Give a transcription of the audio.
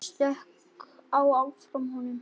Ég stökk á eftir honum.